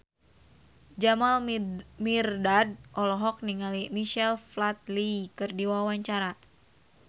Jamal Mirdad olohok ningali Michael Flatley keur diwawancara